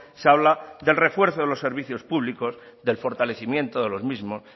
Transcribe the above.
se habla del refuerzo de los servicios públicos del fortalecimiento de los mismos